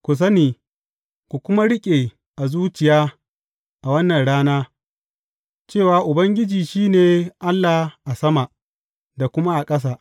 Ku sani, ku kuma riƙe a zuciya a wannan rana, cewa Ubangiji shi ne Allah a sama da kuma a ƙasa.